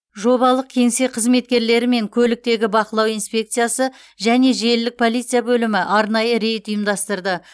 жобалық кеңсе қызметкерлері мен көліктегі бақылау инспекциясы және желілік полиция бөлімі арнайы рейд ұйымдастырды